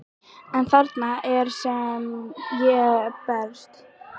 En þarna er það sem ég bregst.